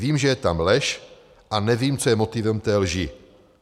Vím, že je tam lež, a nevím, co je motivem té lži.